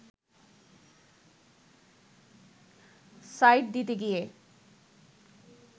side দিতে গিয়ে